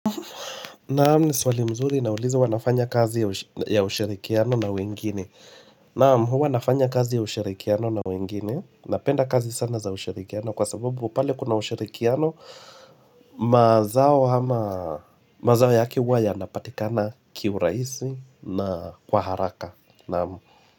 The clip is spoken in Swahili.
Naam ni swali mzuri naulizwa huwa nafanya kazi ya ushirikiano na wengine. Naam, huwa nafanya kazi ya ushirikiano na wengine. Napenda kazi sana za ushirikiano kwa sababu pale kuna ushirikiano. Mazao hama mazao yake huwa yanapatikana kiuraisi na kwa haraka. Naam.